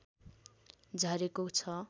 झरेको छ